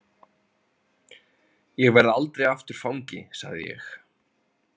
Ég verð aldrei aftur fangi, sagði ég.